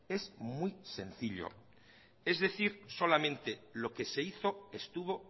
es muy sencillo es decir solamente lo que se hizo estuvo